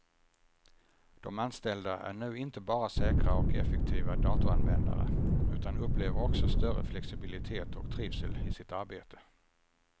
De anställda är nu inte bara säkra och effektiva datoranvändare, utan upplever också större flexibilitet och trivsel i sitt arbetet.